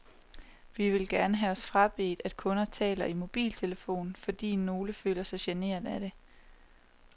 Vi vil gerne have os frabedt, at kunder taler i mobiltelefon, fordi nogle føler sig generet af det.